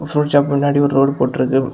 Fruit shop முன்னாடி ஒரு road போட்டு இருக்கு.